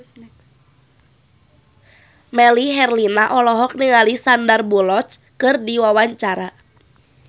Melly Herlina olohok ningali Sandar Bullock keur diwawancara